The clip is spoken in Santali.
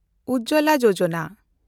ᱩᱡᱚᱞᱟ ᱭᱳᱡᱚᱱᱟ